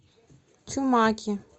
чумаке